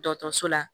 Dɔgɔtɔrɔso la